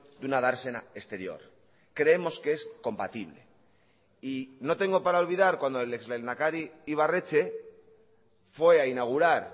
de una dársena exterior creemos que es compatible y no tengo para olvidar cuando el ex lehendakari ibarretxe fue a inaugurar